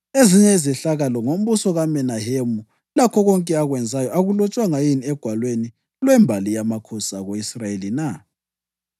Ezinye izehlakalo ngombuso kaMenahemu, lakho konke akwenzayo, akulotshwanga yini egwalweni lwembali yamakhosi ako-Israyeli na?